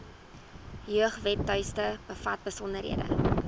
jeugwebtuiste bevat besonderhede